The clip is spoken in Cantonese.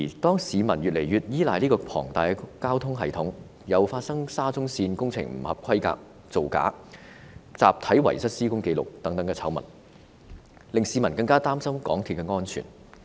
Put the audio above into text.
當市民越來越依賴這個龐大的交通系統時，又發生了沙中綫工程不合規格、造假和集體遺失施工紀錄等醜聞，令市民更加擔心港鐵的安全。